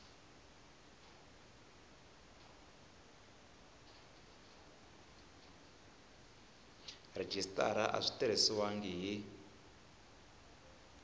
rhejisitara a swi tirhisiwangi hi